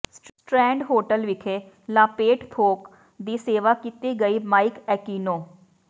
strand Hotel ਵਿਖੇ ਲਾਪੇਟ ਥੋਕ ਦੀ ਸੇਵਾ ਕੀਤੀ ਗਈ ਮਾਈਕ ਏਕਿਨੋ